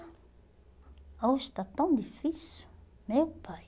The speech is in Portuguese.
Hoje está tão difícil, meu pai.